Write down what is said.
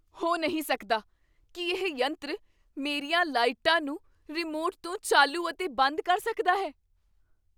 ਹੋ ਨਹੀਂ ਸਕਦਾ! ਕੀ ਇਹ ਯੰਤਰ ਮੇਰੀਆਂ ਲਾਈਟਾਂ ਨੂੰ ਰਿਮੋਟ ਤੋਂ ਚਾਲੂ ਅਤੇ ਬੰਦ ਕਰ ਸਕਦਾ ਹੈ?